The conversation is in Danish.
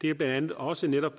det er blandt andet også netop